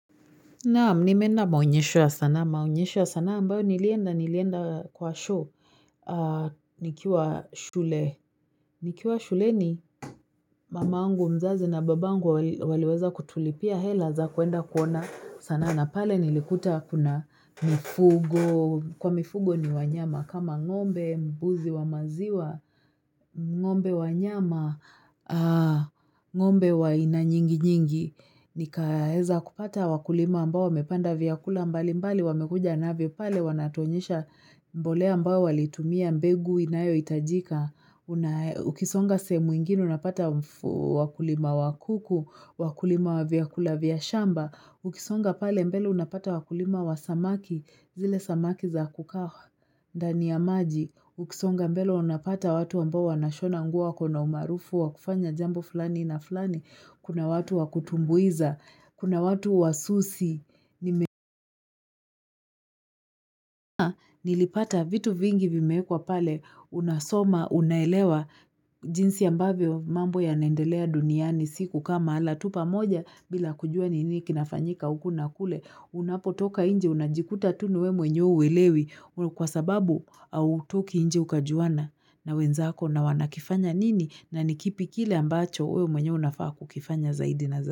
Naam, nimeenda maonyesho ya sanaa, maonyesho ya sanaa, ambayo nilienda, nilienda kwa show, nikiwa shule, nikiwa shule ni mamangu mzazi na babangu waliweza kutulipia, hela za kuenda kuona sanaa, na pale nilikuta kuna mifugo, kwa mifugo ni wanyama, kama ng'ombe, mbuzi wa maziwa, ng'ombe wa nyama, ng'ombe wa aina nyingi nyingi, Nikaeza kupata wakulima ambao wamepanda vyakula mbali mbali wamekuja navyo pale wanatuonyesha mbolea ambao walitumia mbegu inayo itajika. Ukisonga sehemu ingine unapata wakulima wakuku, wakulima vyakula vya shamba. Ukisonga pale mbele unapata wakulima wa samaki zile samaki za kukaha ndani ya maji. Ukisonga mbele unapata watu ambao wanashona nguo wakona umaarufu wakufanya jambo flani na flani. Kuna watu wakutumbuiza, kuna watu wasusi. Nilipata vitu vingi vimeekwa pale unasoma, unaelewa jinsi ambavyo mambo ya naendelea duniani siku kaa mahala tu pa moja bila kujua nini kinafanyika uku na kule. Unapo toka nje unajikuta tu ni we mwenyewe uwelewi kwa sababu au toki nje ukajuana na wenzako na wanakifanya nini na nikipi kile ambacho we mwenyewe unafaa kukifanya zaidi na zaidi.